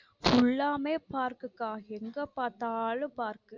full லாமே park கா எங்க பார்த்தாலும் park.